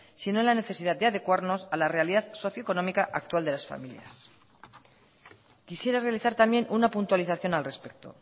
sino en la necesidad de adecuarnos a la realidad socioeconómica actual de las familias quisiera realizar también una puntualización al respecto